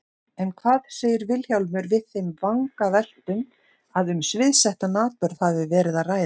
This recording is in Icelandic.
En hvað segir Vilhjálmur við þeim vangaveltum að um sviðsettan atburð hafi verið að ræða?